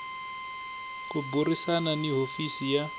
ku burisana ni hofisi ya